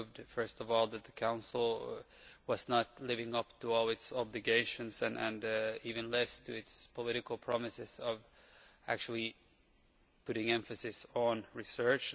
First of all it proved that the Council was not living up to all its obligations and even less to its political promises of actually putting emphasis on research.